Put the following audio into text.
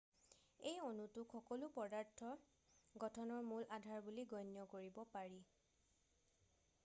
এই অণুটোক সকলো পদাৰ্থ গঠনৰ মূল আধাৰ বুলি গণ্য কৰিব পাৰি